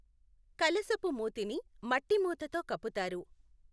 కలశపు మూతిని మట్టి మూతతో కప్పుతారు.